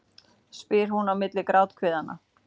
spyr hún á milli gráthviðanna.